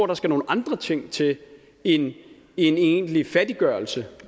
der skal nogle andre ting til end en egentlig fattiggørelse